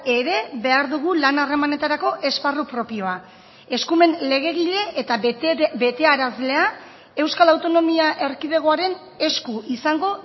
ere behar dugu lan harremanetarako esparru propioa eskumen legegile eta betearazlea euskal autonomia erkidegoaren esku izango